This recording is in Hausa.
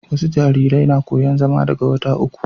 wasu jarirai na koyan zama daga wata uku